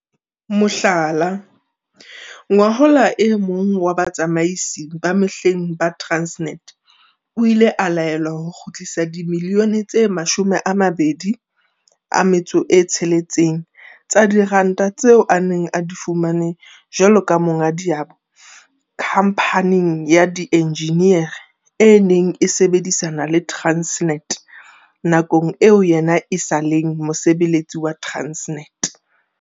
Mohlala, ngwahola e mong wa batsamaisi ba mehleng ba Transnet o ile a laelwa ho kgutlisa dimilione tse 26 tsa diranta tseo a neng a di fumane jwalo ka monga diabo khamphaneng ya dienjiniere e neng e sebedisana le Transnet nakong eo yena e sa leng mosebeletsi wa Transnet.